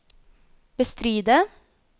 bestride